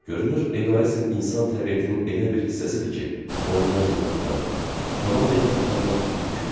Görünür eqoizm insan təbiətinin elə bir hissəsidir ki, ondan yaxa qurtarmaq, tamam yaxa qurtarmaq mümkün deyil.